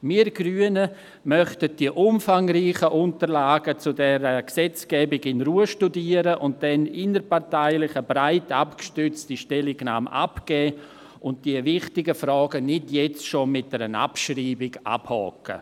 Wir Grünen möchten die umfangreichen Unterlagen zu dieser Gesetzgebung in Ruhe studieren, dann innerparteilich eine breit abgestützte Stellungnahme abgeben und die wichtigen Fragen nicht jetzt schon mit einer Abschreibung abhaken.